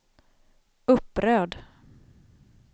upprörd